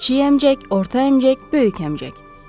Kiçik əmcək, orta əmcək, böyük əmcək.